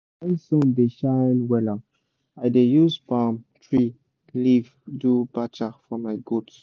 when sun da shine wella i da use palm tree leave do bacha for my goat